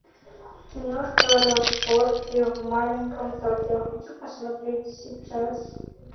киношка разборки в маленьком токио хочу посмотреть сейчас